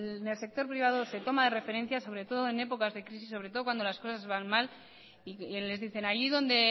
en el sector privado se toma referencias sobre todo en épocas de crisis sobre todo cuando las cosas van mal y les dicen allí donde